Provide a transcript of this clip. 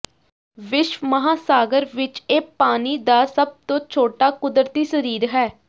ਵਿਸ਼ਵ ਮਹਾਸਾਗਰ ਵਿਚ ਇਹ ਪਾਣੀ ਦਾ ਸਭ ਤੋਂ ਛੋਟਾ ਕੁਦਰਤੀ ਸਰੀਰ ਹੈ